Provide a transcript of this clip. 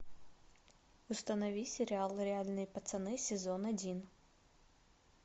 установи сериал реальные пацаны сезон один